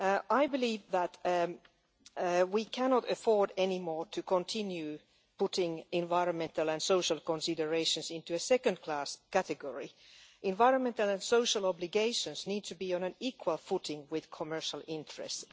I believe that we can no longer afford to continue putting environmental and social considerations into a second class category. Environmental and social obligations need to be on an equal footing with commercial interests.